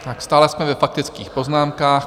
Stále jsme ve faktických poznámkách.